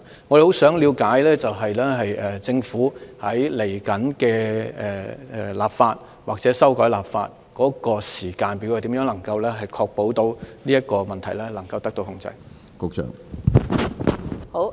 我們很想了解政府未來立法或修訂法例的時間表，以及如何確保這個問題能夠受到控制？